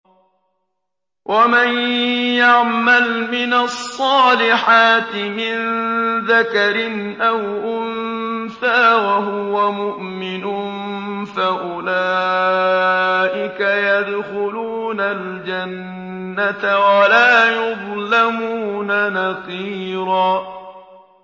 وَمَن يَعْمَلْ مِنَ الصَّالِحَاتِ مِن ذَكَرٍ أَوْ أُنثَىٰ وَهُوَ مُؤْمِنٌ فَأُولَٰئِكَ يَدْخُلُونَ الْجَنَّةَ وَلَا يُظْلَمُونَ نَقِيرًا